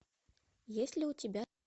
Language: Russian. есть ли у тебя